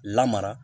Lamara